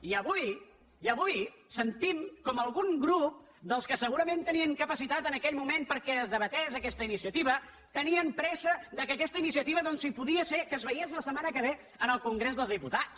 i avui i avui sentim com algun grup dels que segurament tenien capacitat en aquell moment perquè es debatés aquesta iniciativa tenien pressa perquè aquesta iniciativa doncs si podia ser que es veiés la setmana que ve en el congrés dels diputats